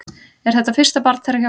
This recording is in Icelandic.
Er þetta fyrsta barn þeirra hjóna